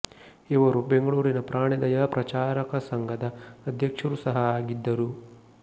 ಇವರು ಬೆಂಗಳೂರಿನ ಪ್ರಾಣಿದಯಾ ಪ್ರಚಾರಕ ಸಂಘದ ಅಧ್ಯಕ್ಷರು ಸಹ ಆಗಿದ್ದರು